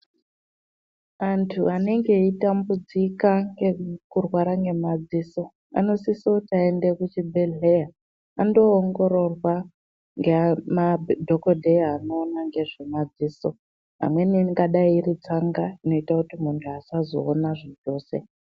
Antu anenge eyitambudzika ngekurwara ngemadziso, anosiso kuti ayende kuchibhedhleya, andoongororwa ngemadhokodheya anoona ngezvemadziso, amweni angadayi iri tsanga inoyita kuti muntu asazoona zvachose.